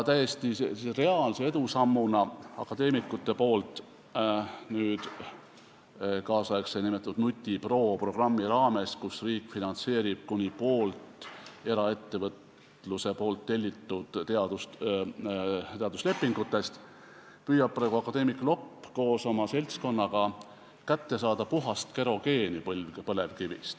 Täiesti reaalne edusamm akadeemikute poolt on tehtud nn NUTIPRO programmi raames, kus riik finantseerib kuni poolt eraettevõtluse tellitud teaduslepingutest ja akadeemik Lopp püüab koos oma seltskonnaga põlevkivist kätte saada puhast kerogeeni.